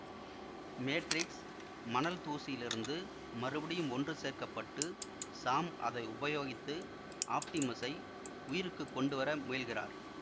மேட்ரிக்ஸ மணல் தூசியிலிருந்து மறுபடியும் ஒன்று சேர்க்க பட்டு சாம் அதை உபயோகித்து ஆப்டிமஸை உயிருக்கு கொண்டுவர முயல்கிறார்